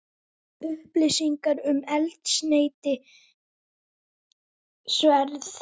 Upplýsingar um eldsneytisverð